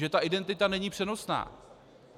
Že ta identita není přenosná.